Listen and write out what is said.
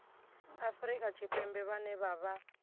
afrika tshipembe vhane vha vha